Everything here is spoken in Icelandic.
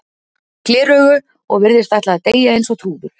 gleraugu og virðist ætla að deyja eins og trúður.